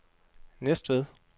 Næstved